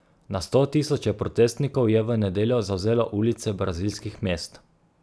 Na sto tisoče protestnikov je v nedeljo zavzelo ulice brazilskih mest.